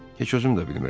Heç özüm də bilmirəm.